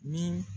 Ni